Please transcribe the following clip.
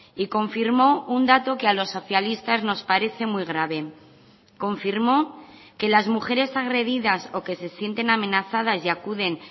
y confirmó un dato que a los socialistas nos parece muy grave confirmó que las mujeres agredidas o que se sienten amenazadas y acuden